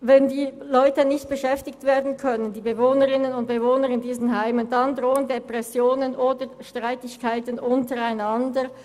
Wenn die Leute nicht beschäftigt werden können, dann drohen Depressionen und Streitigkeiten untereinander.